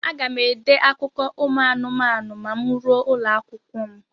Aga m ede akụkọ ụmụ anụmanụ ma m ruo ụlọakwụkwọ m.